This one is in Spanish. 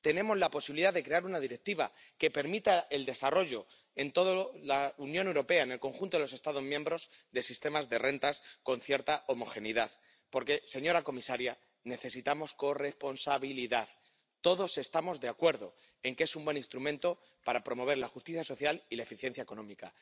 Tenemos la posibilidad de crear una directiva que permita el desarrollo en toda la Unión Europea, en el conjunto de los Estados miembros, de sistemas de rentas con cierta homogeneidad. Porque, señora comisaria, necesitamos corresponsabilidad. Todos estamos de acuerdo en que es un buen instrumento para promover la justicia social y la eficiencia económica.